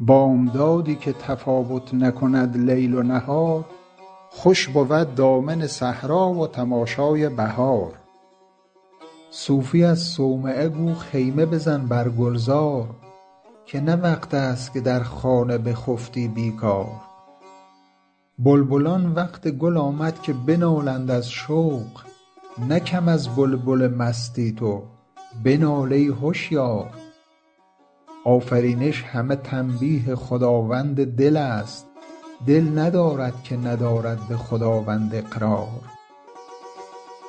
بامدادی که تفاوت نکند لیل و نهار خوش بود دامن صحرا و تماشای بهار صوفی از صومعه گو خیمه بزن بر گلزار که نه وقت است که در خانه بخفتی بیکار بلبلان وقت گل آمد که بنالند از شوق نه کم از بلبل مستی تو بنال ای هشیار آفرینش همه تنبیه خداوند دل ست دل ندارد که ندارد به خداوند اقرار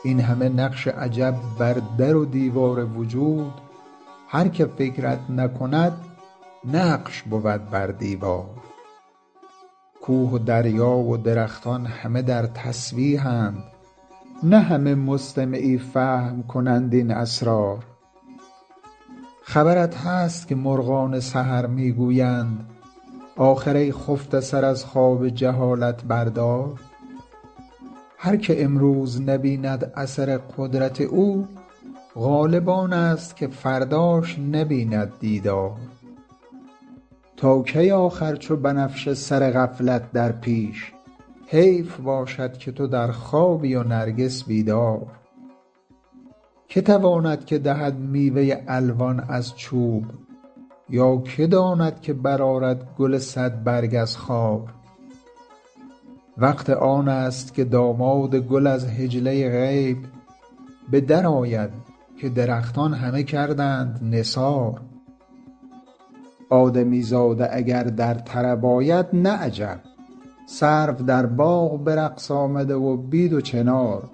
این همه نقش عجب بر در و دیوار وجود هر که فکرت نکند نقش بود بر دیوار کوه و دریا و درختان همه در تسبیح اند نه همه مستمعی فهم کنند این اسرار خبرت هست که مرغان سحر می گویند آخر ای خفته سر از خواب جهالت بردار هر که امروز نبیند اثر قدرت او غالب آنست که فرداش نبیند دیدار تا کی آخر چو بنفشه سر غفلت در پیش حیف باشد که تو در خوابی و نرگس بیدار که تواند که دهد میوه الوان از چوب یا که داند که برآرد گل صد برگ از خار وقت آنست که داماد گل از حجله غیب به در آید که درختان همه کردند نثار آدمی زاده اگر در طرب آید نه عجب سرو در باغ به رقص آمده و بید و چنار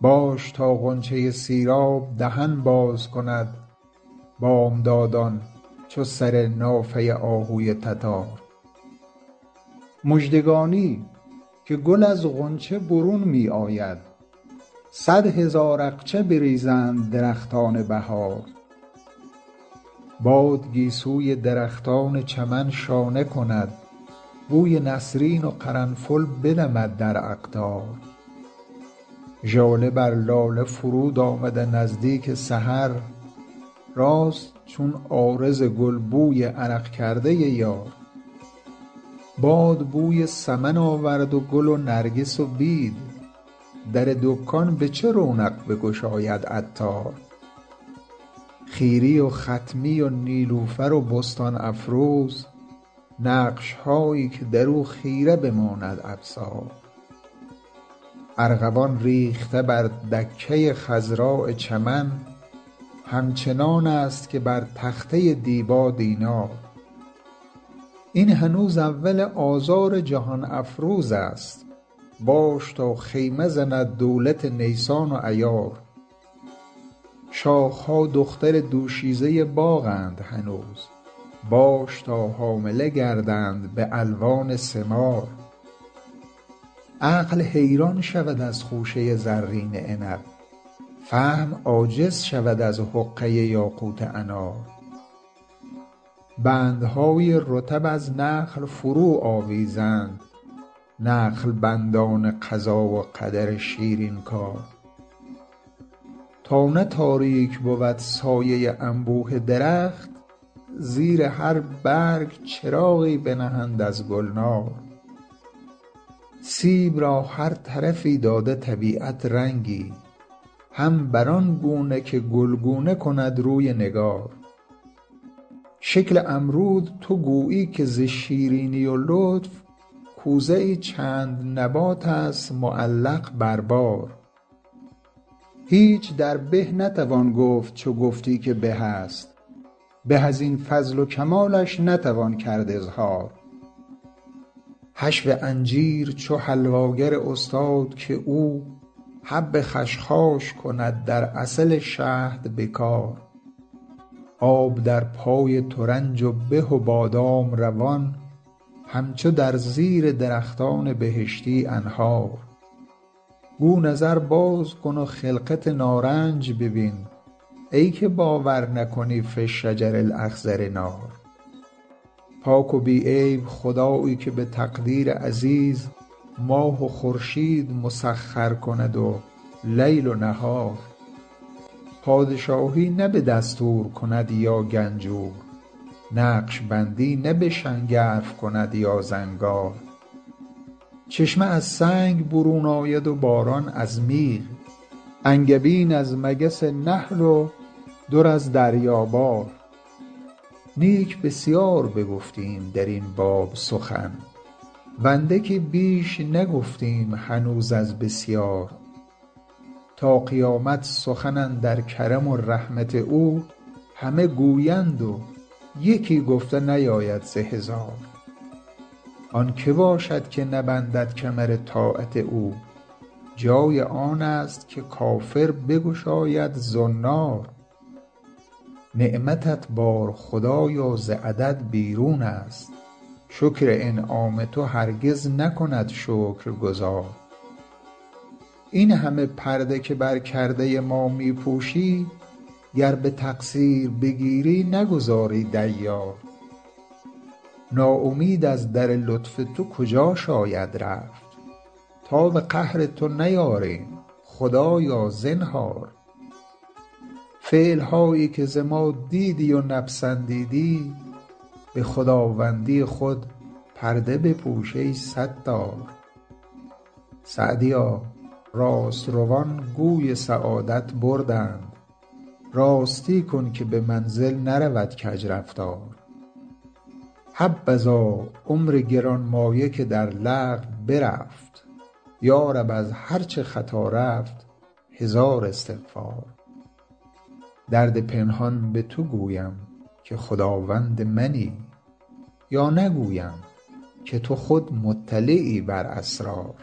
باش تا غنچه سیراب دهن باز کند بامداد ان چو سر نافه آهوی تتار مژدگانی که گل از غنچه برون می آید صد هزار اقچه بریزند درختان بهار باد گیسوی درختان چمن شانه کند بوی نسرین و قرنفل بدمد در اقطار ژاله بر لاله فرود آمده نزدیک سحر راست چون عارض گل بوی عرق کرده یار باد بوی سمن آورد و گل و نرگس و بید در دکان به چه رونق بگشاید عطار خیری و خطمی و نیلوفر و بستان افروز نقش هایی که درو خیره بماند ابصار ارغوان ریخته بر دکه خضراء چمن همچنان ست که بر تخته دیبا دینار این هنوز اول آذار جهان افروزست باش تا خیمه زند دولت نیسان و ایار شاخ ها دختر دوشیزه باغ اند هنوز باش تا حامله گردند به الوان ثمار عقل حیران شود از خوشه زرین عنب فهم عاجز شود از حقه یاقوت انار بندهای رطب از نخل فرو آویزند نخل بند ان قضا و قدر شیرین کار تا نه تاریک بود سایه انبوه درخت زیر هر برگ چراغی بنهند از گلنار سیب را هر طرفی داده طبیعت رنگی هم بر آن گونه که گلگونه کند روی نگار شکل امرود تو گویی که ز شیرینی و لطف کوزه ای چند نبات است معلق بر بار هیچ در به نتوان گفت چو گفتی که به است به از این فضل و کمالش نتوان کرد اظهار حشو انجیر چو حلوا گر استاد که او حب خشخاش کند در عسل شهد به کار آب در پای ترنج و به و بادام روان همچو در زیر درختان بهشتی أنهار گو نظر باز کن و خلقت نارنج ببین ای که باور نکنی في الشجر الأخضر نار پاک و بی عیب خدایی که به تقدیر عزیز ماه و خورشید مسخر کند و لیل و نهار پادشاهی نه به دستور کند یا گنجور نقشبندی نه به شنگرف کند یا زنگار چشمه از سنگ برون آید و باران از میغ انگبین از مگس نحل و در از دریا بار نیک بسیار بگفتیم درین باب سخن و اندکی بیش نگفتیم هنوز از بسیار تا قیامت سخن اندر کرم و رحمت او همه گویند و یکی گفته نیاید ز هزار آن که باشد که نبندد کمر طاعت او جای آنست که کافر بگشاید زنار نعمتت بار خدایا ز عدد بیرون است شکر انعام تو هرگز نکند شکرگزار این همه پرده که بر کرده ما می پوشی گر به تقصیر بگیری نگذاری دیار ناامید از در لطف تو کجا شاید رفت تاب قهر تو نیاریم خدایا زنهار فعل هایی که ز ما دیدی و نپسندیدی به خداوندی خود پرده بپوش ای ستار سعدیا راست روان گوی سعادت بردند راستی کن که به منزل نرود کج رفتار حبذا عمر گرانمایه که در لغو برفت یارب از هر چه خطا رفت هزار استغفار درد پنهان به تو گویم که خداوند منی یا نگویم که تو خود مطلعی بر اسرار